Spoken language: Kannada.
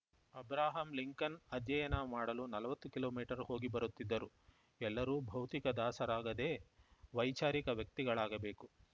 ಅಬ್ರಹಾಂ ಲಿಂಕನ್‌ ಅಧ್ಯಯನ ಮಾಡಲು ನಲವತ್ತು ಕಿಲೋ ಮೀಟರ್ ಹೋಗಿಬರುತ್ತಿದ್ದರು ಎಲ್ಲರೂ ಭೌತಿಕ ದಾಸರಾಗದೇ ವೈಚಾರಿಕ ವ್ಯಕ್ತಿಗಳಾಗಬೇಕು